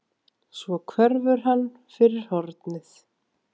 Svo hverfur hann fyrir hornið.